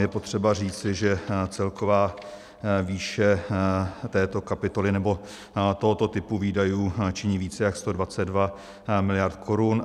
Je potřeba říci, že celková výše této kapitoly, nebo tohoto typu výdajů činí více jak 122 mld. korun.